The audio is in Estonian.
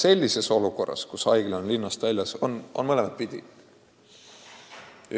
Sellises olukorras, kus haigla on linnast väljas, on poolt- ja vastuargumente nii ühele kui teisele lahendusele.